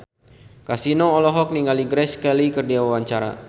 Kasino olohok ningali Grace Kelly keur diwawancara